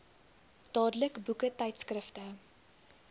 dadelik boeke tydskrifte